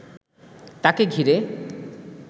তাকে ঘিরে